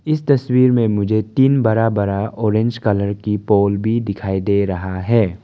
इस तस्वीर में मुझे तीन बड़ा बड़ा ऑरेंज कलर की पोल भी दिखाई दे रहा है।